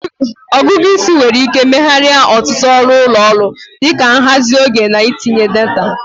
Ọgụgụ isi nwere ike megharịa ọtụtụ ọrụ ụlọ ọrụ, dị ka nhazi oge na ntinye data.